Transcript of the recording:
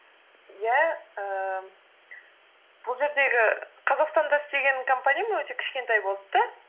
иә ііі бұл жердегі қазақстанда істеген компаниям өте кішкентай болды да